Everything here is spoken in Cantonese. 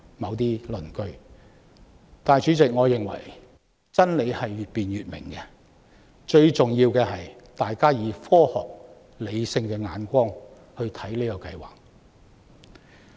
但是，代理主席，我認為真理是越辯越明的，最重要的是大家從科學和理性的角度去看這個計劃。